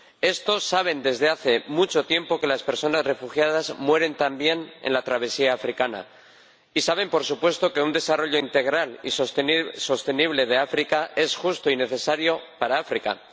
Estos saben desde hace mucho tiempo que las personas refugiadas mueren también en la travesía africana y saben, por supuesto, que un desarrollo integral y sostenible de África es justo y necesario para África.